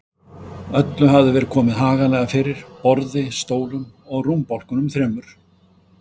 Öllu hafði verið komið haganlega fyrir: borði, stólum og rúmbálkunum þremur.